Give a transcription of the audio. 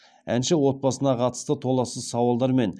әнші отбасына қатысты толассыз сауалдар мен